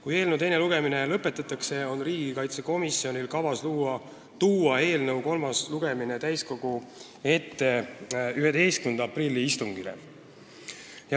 Kui eelnõu teine lugemine lõpetatakse, on riigikaitsekomisjonil kavas tuua eelnõu kolmas lugemine täiskogu ette 11. aprilli istungiks.